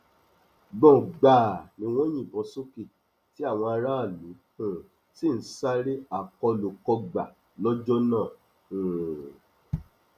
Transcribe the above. gbọngbàà ni wọn ń yìnbọn sókè tí àwọn aráàlú um sì ń sáré akólúkógbá lọjọ náà um